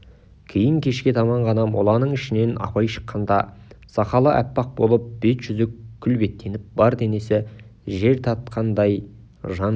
кейін кешке таман ғана моланың ішінен абай шыққанда сақалы аппақ болып беті-жүзі күлбеттеніп бар денесі жер тартқан жандай